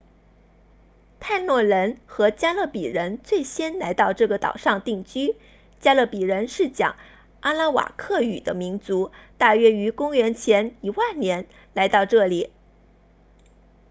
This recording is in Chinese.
泰诺人 taínos 和加勒比人 caribes 最先来到这个岛上定居加勒比人是讲阿拉瓦克语 arawakan 的民族大约于公元前10000年来到这里